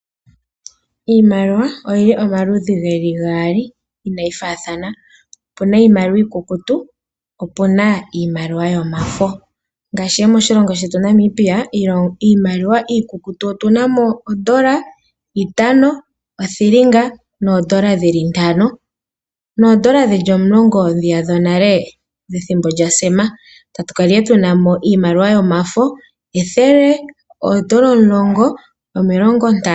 Iimaliwa oyili omaludhi geli gaali inaayi faathana, opuna Iimaliwa iikukutu, opuna iimaliwa yomafo ngaashi moshilongo shetu Namibia iimaliwa iikutu otunamo gondola, itano, othilinga noondola dhili ntano, noondola dhili omulongo dhiya dhonale dhethimbo lyaSem. Tatukala tunamo iimaliwa yomafo, ethele, oondola omulongo, omilongo ntano.